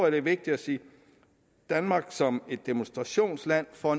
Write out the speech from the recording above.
at det er vigtigt at sige at danmark som et demonstrationsland for